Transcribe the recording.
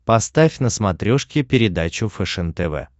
поставь на смотрешке передачу фэшен тв